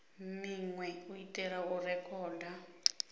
minwe u itela u rekhoda